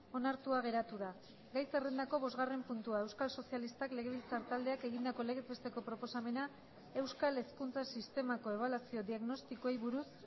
onartua geratu da gai zerrendako bosgarren puntua euskal sozialistak legebiltzar taldeak egindako legez besteko proposamena euskal hezkuntza sistemako ebaluazio diagnostikoei buruz